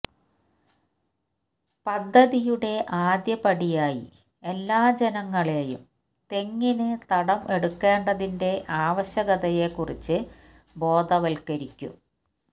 പദ്ധതിയുടെ ആദ്യ പടിയായി എല്ലാ ജനങ്ങളേയും തെങ്ങിന് തടം എടുക്കേണ്ടതിന്റെ ആവശ്യകതയെക്കുറിച്ച് ബോധവത്ക്കരിക്കും